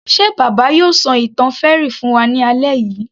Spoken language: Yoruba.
Ṣe bàbá yóò ṣọ ìtàn fairy fún wa ní alẹ́ yìí